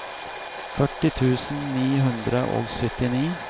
førti tusen ni hundre og syttini